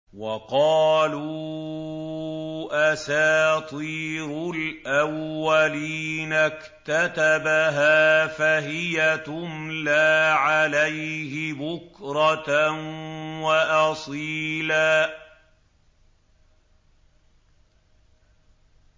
وَقَالُوا أَسَاطِيرُ الْأَوَّلِينَ اكْتَتَبَهَا فَهِيَ تُمْلَىٰ عَلَيْهِ بُكْرَةً وَأَصِيلًا